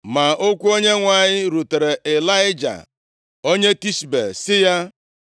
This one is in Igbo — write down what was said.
Ma okwu Onyenwe anyị rutere Ịlaịja, onye Tishbe, sị ya,